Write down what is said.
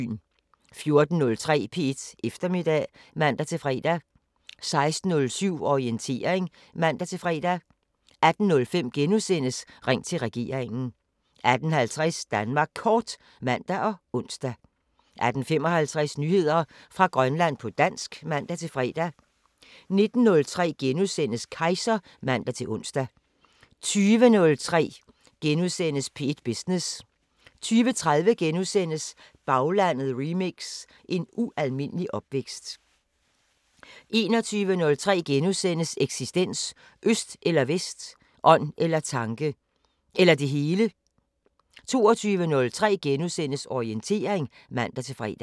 14:03: P1 Eftermiddag (man-fre) 16:07: Orientering (man-fre) 18:05: Ring til regeringen * 18:50: Danmark Kort (man og ons) 18:55: Nyheder fra Grønland på dansk (man-fre) 19:03: Kejser *(man-ons) 20:03: P1 Business * 20:30: Baglandet remix: En ualmindelig opvækst * 21:03: Eksistens: Øst eller Vest. Ånd eller tanke. Eller det hele. * 22:03: Orientering *(man-fre)